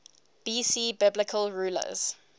bc biblical rulers